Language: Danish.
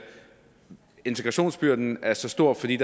integrationsbyrden er så stor fordi